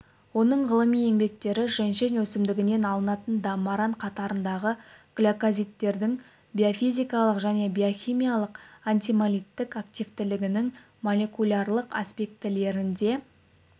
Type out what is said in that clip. оның ғылыми еңбектері женьшень өсімдігінен алынатын даммаран қатарындағы глюкозиттердің биофизикалық және биохимиалық антигемолиттік активтілігінің молекулярлық аспектілеріне